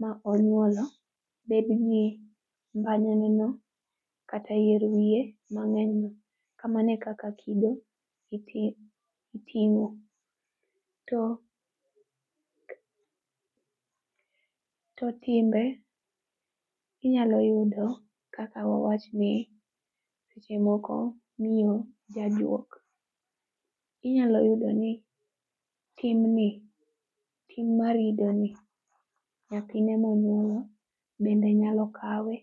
ma onyuolo bedgi mbanyane no kata yier wiye mang'enyno. Kamano e kaka kido iting'o. To to timbe, inyalo yudo kaka wawach ni, seche moko, miyo, jajuok, inyalo yudo ni timni, tim mar idoni nyathine monyuolo bende nyalo kawe